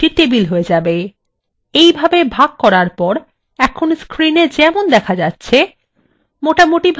এইভাগে ভাগ করার পর এখন screenএ যেমন দেখা যাচ্ছে মোটামুটিভাবে এইকটি টেবিল তৈরী হযে যাবে